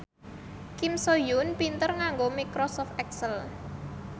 Kim So Hyun pinter nganggo microsoft excel